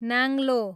नाङ्लो